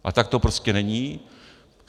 A tak to prostě není.